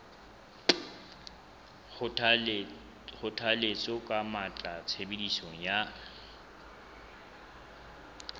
kgothalletsa ka matla tshebediso ya